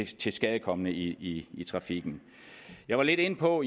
tilskadekomne i i trafikken jeg var lidt inde på